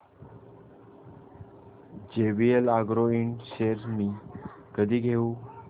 JVL agro ind shares मी कधी घेऊ